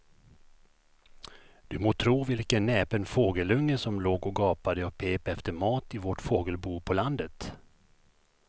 Du må tro vilken näpen fågelunge som låg och gapade och pep efter mat i vårt fågelbo på landet.